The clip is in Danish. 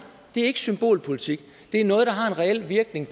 det er ikke symbolpolitik det er noget der har en reel virkning